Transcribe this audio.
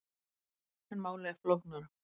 En málið er flóknara.